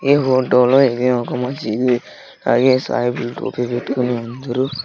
ఈ ఫోటో లో ఇది ఒక మసీదు ఐ_ఏ_ఎస్ ఐ_పి_ఎస్ టోపీలు పెట్టుకుని అందరూ.